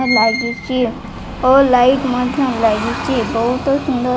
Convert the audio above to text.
ଲାଗିଛି ଓ ଲାଇଟ୍ ମଧ୍ଯ ଲାଗିଛି ବହୁତ ସୁନ୍ଦର --